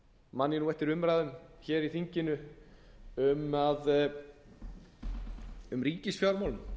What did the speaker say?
stóriðjuáform og man ég eftir umræðum í þinginu um ríkisfjármál það var í desember